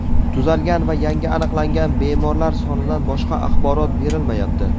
Tuzalgan va yangi aniqlangan bemorlar sonidan boshqa axborot berilmayapti.